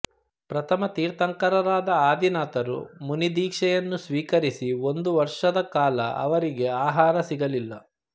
ಪ್ರಥಮ ತೀರ್ಥಂಕರರಾದ ಆದಿನಾಥರು ಮುನಿದೀಕ್ಷೆಯನ್ನು ಸ್ವೀಕರಿಸಿ ಒಂದು ವರ್ಷದ ಕಾಲ ಅವರಿಗೆ ಆಹಾರ ಸಿಗಲಿಲ್ಲ